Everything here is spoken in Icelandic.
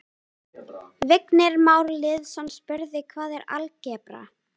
Vignir Már Lýðsson spurði: Hvað er algebra?